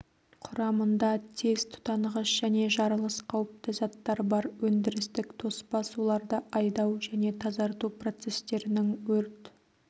құрамында тез тұтанғыш және жаралыс қауіпті заттар бар өндірістік тоспа суларды айдау және тазарту процестерінің өрт